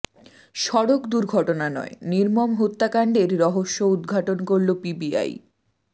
সড়ক দুর্ঘটনা নয় নির্মম হত্যাকাণ্ডের রহস্য উদঘাটন করল পিবিআই